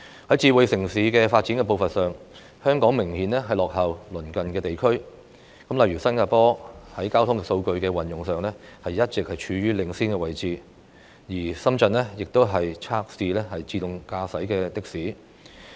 在"智慧城市"的發展步伐上，香港明顯落後於鄰近地區，例如新加坡在交通數據的運用上一直處於領先位置，深圳亦已測試自動駕駛的士。